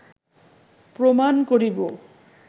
প্রমাণ করিব